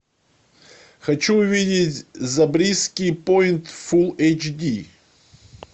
хочу увидеть забриски пойнт фул эйч ди